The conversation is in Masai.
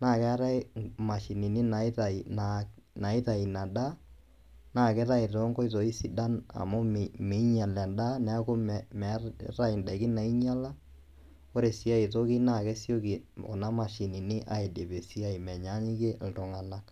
naakeetai imashinini naitai, naa naitai ina daa naakeitai tonkoitoi sidan amu meinyal endaa neaku meetai indaiki naainyala. Ore sii ai toki naakesioki kuna mashinini aidip esiai menyaanyukie iltung'anak.